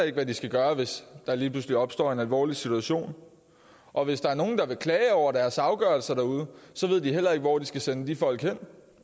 ikke hvad de skal gøre hvis der lige pludselig opstår en alvorlig situation og hvis der er nogen der vil klage over deres afgørelser derude så ved de heller ikke hvor de skal sende de folk hen